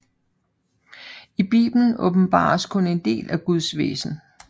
I Bibelen åbenbares kun en del af Guds væsen